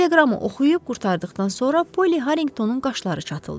Teleqramı oxuyub qurtardıqdan sonra Poli Harringtonun qaşları çatıldı.